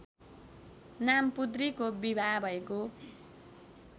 नामपुद्रिको विवाह भएको